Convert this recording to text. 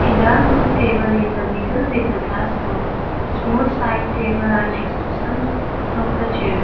dark wood table in the middle with the glass top small side table are next to of the chair.